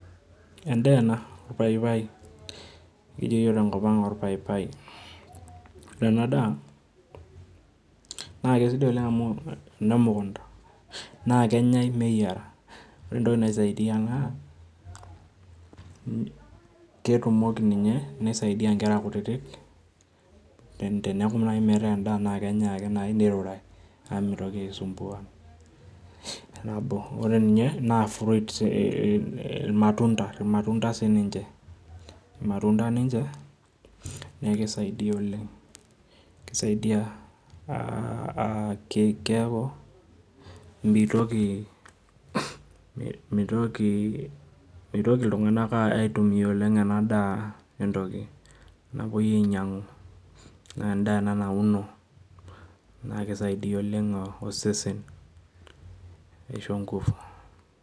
Endaa ena, paipai, kijo iyiok te enkop ang' olpaipai. Ore ena dai naake aisidai oleng' amu emukunta, naa kenyai meyiera, ore entoki naisaidia naa, ketumoki ninye, naa keisaidia inkera kutiti teneaku naaji endaa naake enyai ake neirurai naa meitoki aisumbua nabo, ore ninye naa fruit, ilmatunda naa sininche, ilmatunda ninche naa keisaidia oleng', naa keisaidia keaku meitoki iltung'ana aitumia oleng' ena daa entoki napuoi ainyang'u, endaa ena nauno, naa keisaidia oleng' osesen neisho inkufu.